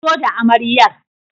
Fito da amaryar!